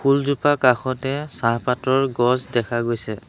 ফুলজোপা কাষতে চাহপাতৰ গছ দেখা গৈছে।